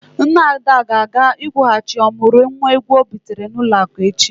Nne Ada ga-aga ịkwụghachi ọmụrụ nwa ego ọ bitere n'ụlọ akụ echi.